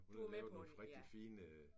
Hun havde lavet nogle rigtig fine